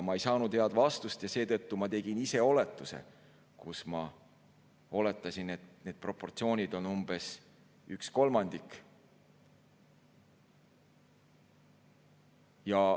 Ma ei saanud head vastust ja seetõttu ma tegin oletuse, et need proportsioonid on umbes üks kolmandik.